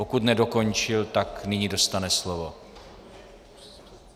Pokud nedokončil, tak nyní dostane slovo.